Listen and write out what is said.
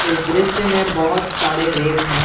इस दृश्य में बहोत सारे रैक हैं।